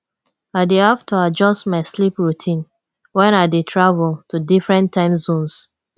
i dey have to adjust my sleep routine when i dey travel to different time zones